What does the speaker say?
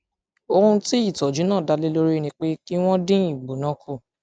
ohun tí tí ìtọjú náà dá lé lórí ni pé kí wọn dín ìgbóná kù